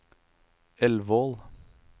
Elvål